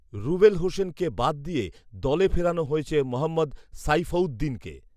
রুবেল হোসেনকে বাদ দিয়ে দলে ফেরানো হয়েছে মোহাম্মদ সাইফউদ্দিনকে